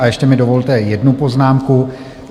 A ještě mi dovolte jednu poznámku.